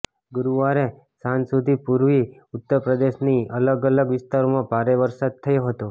ગુરુવારે સાંજ સુધી પૂર્વી ઉત્તરપ્રદેશના અલગ અલગ વિસ્તારોમાં ભારે વરસાદ થયો હતો